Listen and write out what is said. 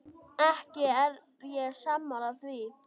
Ekki er ég sammála því.